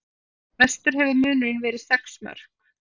Mestur hefur munurinn verið sex mörk